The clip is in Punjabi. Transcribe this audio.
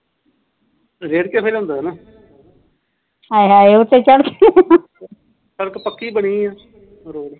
ਸੜਕ ਪੱਕੀ ਬਣੀ ਰੋਡ